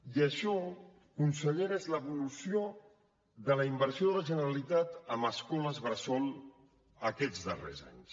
i això consellera és l’evolució de la inversió de la generalitat en escoles bressol aquests darrers anys